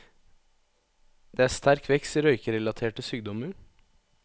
Det er sterk vekst i røykerelaterte sykdommer.